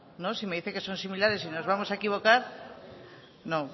si me dice que son similares y nos vamos a equivocar no